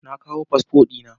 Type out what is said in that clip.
Na kawo fasfo dina